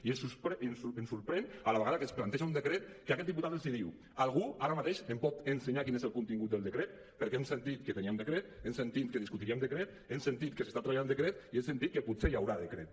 i ens sorprèn a la vegada que es planteja un decret que aquest diputat els diu algú ara mateix em pot ensenyar quin és el contingut del decret perquè hem sentit que teníem decret hem sentit que discutiríem decret hem sentit que s’està treballant decret i hem sentit que potser hi haurà decret